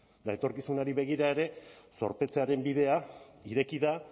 eta etorkizunari begira ere zorpetzearen bidea ireki da